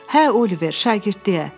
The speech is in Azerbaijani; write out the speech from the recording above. Hə Oliver, şagirdliyə.